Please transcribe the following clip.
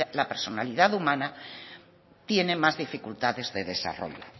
la personalidad humana tiene más dificultades de desarrollo